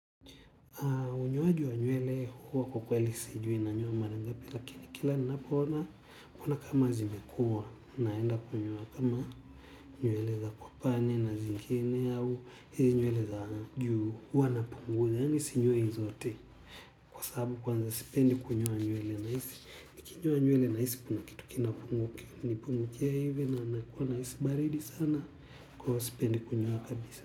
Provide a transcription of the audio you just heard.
Unyoajo wa nywele huwa kwa kweli sijui nanyoa marangapi lakini kila ninapoona kuona kama zimekua naenda kunyoa ama nywele za kwa pande na zingine au hizi nywele za juu huwa napunguza yaani sinyoi zote kwa saabu kwanza sipendi kunyoa nywele nahisi nikinyoa nywele nahisi kuna kitu kinanipungukia hivi nakuwa nahisi baridi sana kwa hivyo sipendi kunyoa kabisa.